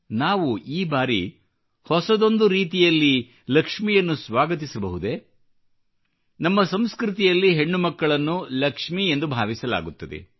ನಾವು ಈ ಬಾರಿ ಹೊಸದೊಂದು ರೀತಿಯಲ್ಲಿ ಲಕ್ಷ್ಮಿಯನ್ನು ಸ್ವಾಗತಿಸಬಹುದೇ ನಮ್ಮ ಸಂಸ್ಕೃತಿಯಲ್ಲಿ ಹೆಣ್ಣು ಮಕ್ಕಳನ್ನು ಲಕ್ಷ್ಮಿಯೆಂದು ಭಾವಿಸಲಾಗುತ್ತದೆ